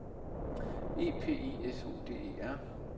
E P I S O D E R